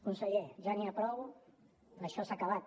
conseller ja n’hi ha prou això s’ha acabat